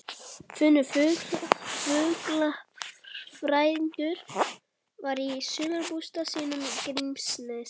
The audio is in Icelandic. Finnur fuglafræðingur væri í sumarbústað sínum í Grímsnesi.